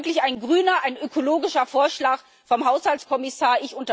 Das ist wirklich ein grüner, ein ökologischer Vorschlag des Haushaltskommissars.